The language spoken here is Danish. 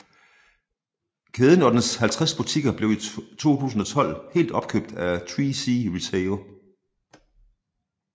Kæden og dens 50 butikker blev i 2012 helt opkøbt af 3C RETAIL